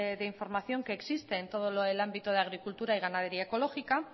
de información que existe en todo lo del ámbito de agricultura y ganadería ecológica